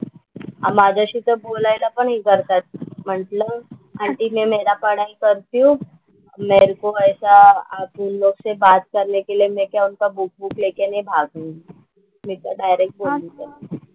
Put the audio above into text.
माझ्याशी तर बोलायला पण हे करता म्हंटलं आंटी मैं मेरा पढ़ाई करती हूँ मेरे को ऐसा उन लोग से बात करने के लिए मैं क्या उनका बुक वूक लेके नहीं भागुंगी. मी तर डायरेक्ट बोलले त्यांना.